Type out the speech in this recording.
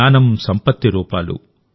జ్ఞానం సంపత్తి రూపాలు